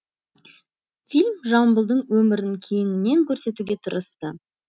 фильм жамбылдың өмірін кеңінен көрсетуге тырысты